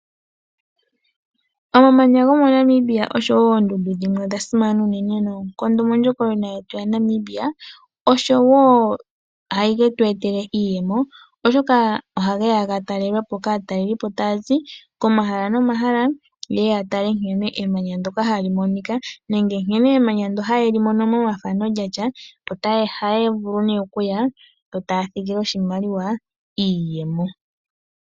Omamanya gomoNamibia osho wo oondundu dhimwe odha simana unene noonkondo mondjokonona yetu yaNamibia, oshowo ohage tu etele iiyemo, oshoka ohage ya ga talelwe po kaatalelipo taya zi komahala nomahala ye ye ya tale nkene emanya ndyono hali monika nenge nkene emanya ndyono haye li mono momathano lya tya. Ohaya vulu nduno okuya yo taa thigi oshimaliwa, iiyemo.